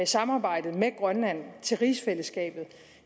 samarbejdet med grønland i rigsfællesskabet